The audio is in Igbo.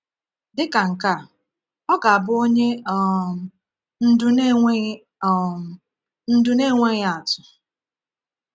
Dị ka nke a, Ọ ga-abụ Onye um Ndú na-enweghị um Ndú na-enweghị atụ.